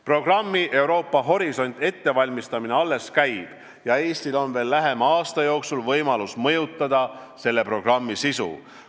Programmi "Euroopa horisont" ettevalmistamine alles käib ja Eestil on lähema aasta jooksul võimalus mõjutada selle programmi sisu.